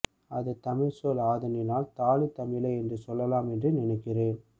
அது தமிழ் சொல் ஆதலினால் தாலி தமிழே என்று சொல்லலாம் என்று நினைக்கிறேன்